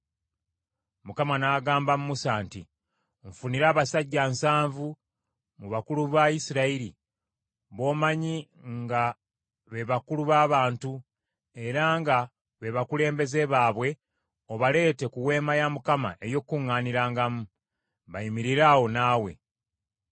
Mukama n’agamba Musa nti, “Nfunira abasajja nsanvu mu bakulu ba Isirayiri b’omanyi nga be bakulu b’abantu era nga be bakulembeze baabwe obaleete ku Weema ey’Okukuŋŋaanirangamu, bayimirire awo naawe.